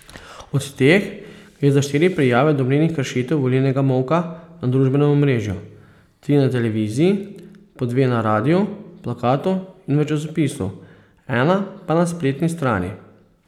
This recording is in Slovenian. Od teh gre za štiri prijave domnevnih kršitev volilnega molka na družbenem omrežju, tri na televiziji, po dve na radiu, plakatu in v časopisu, ena pa na spletni strani.